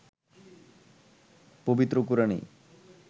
পবিত্র কোরআনেই